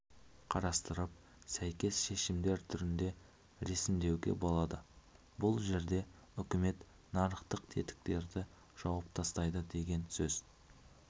қарастырып сәйкес шешімдер түрінде ресімдеуге болады бұл жерде үкімет нарықтық тетіктерді жауып тастайды деген сөз